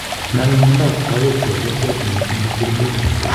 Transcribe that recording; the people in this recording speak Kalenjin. Nome miondap kawek chepyosok zaidi kosir murenik